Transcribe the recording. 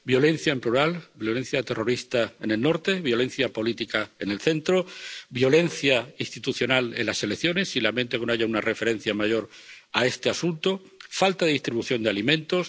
violencia, en plural violencia terrorista, en el norte, violencia política, en el centro, violencia institucional, en las elecciones —y lamento que no haya una referencia mayor a este asunto— falta de distribución de alimentos